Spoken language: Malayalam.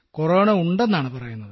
കൊറോണ ഉണ്ടെന്നാണ് പറയുന്നത്